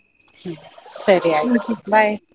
ಹ್ಮ್ ಸರಿ ಆಯ್ತು bye .